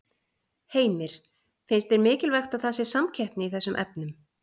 Heimir: Finnst þér mikilvægt að það sé samkeppni í þessum efnum?